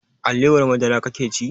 Alewar madara kake ci?